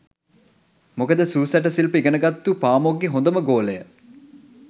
මොකද සූ සැට සිල්ප ඉගෙනගත්තු පාමොක්ගෙ හොඳම ගෝලය